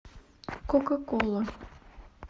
кока кола